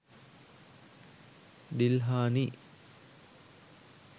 dilhani